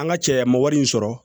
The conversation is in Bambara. An ka cɛ an ma wari in sɔrɔ